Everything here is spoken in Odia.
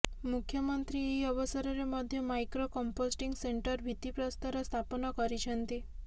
ମୁଖ୍ୟମନ୍ତ୍ରୀ ଏହି ଅବସରରେ ମଧ୍ୟ ମଇକ୍ରୋ କମ୍ପୋଷ୍ଟିଂ ସେଣ୍ଟର ଭିତ୍ତିପ୍ରସ୍ତର ସ୍ଥାପନ କରିଛନ୍ତି